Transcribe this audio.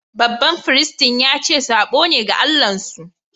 Baɓan firistin ya ce sabo ne ga Allah'n su.